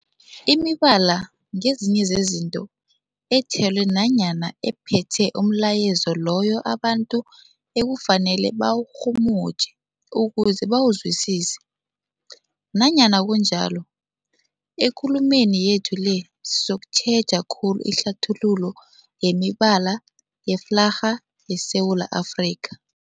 Imibala ngezinye zezinto ethelwe nanyana ephethe umlayezo loyo abantu ekufanele bawurhumutjhe ukuze bawuzwisise. Nanyana kunjalo, ekulumeni yethu le sizokutjheja khulu ihlathululo yemibala yeflarha yeSewula Afrika.